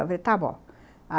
Eu falei, está bom.